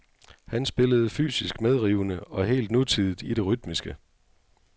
Han spillede fysisk medrivende og helt nutidigt i det rytmiske.